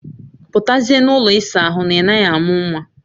Putazie n'ụlọ isa ahụ na ị naghị amụ nwa